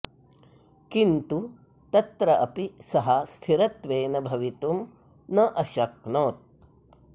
किन्तु तत्र अपि सः स्थिरत्वेन भवितुं न अशक्नोत्